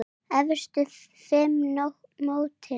Efstu fimm í mótinu